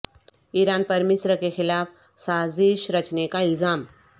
ایران پر مصر کے خلاف سازش رچنے کا الزام